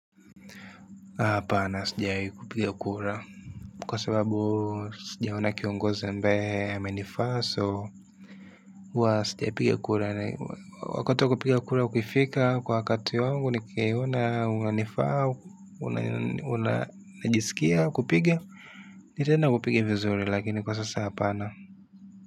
Hapana sijawahi kupiga kura. Kwa sababu sijaoni kiongozi ambaye amenifaa so huwa sijiapiga kura wakati wa kupiga kura ukifika kwa wakati wangu nikiona unanifaa unanijisikia kupiga ni tena kupiga vizuri lakini kwa sasa hapana.